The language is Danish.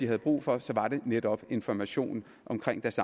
har brug for så er det netop information omkring deres